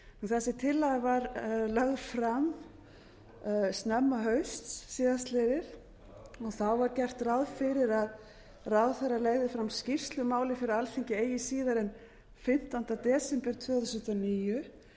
þessi tillaga var lögð fram snemma hausts síðastliðið það var gert ráð fyrir að ráðherra legði fram skýrslu um málið fyrir alþingi eigi síðar en fimmtánda desember tvö þúsund og níu